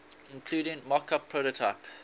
including mockup prototype